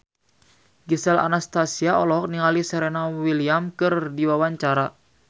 Gisel Anastasia olohok ningali Serena Williams keur diwawancara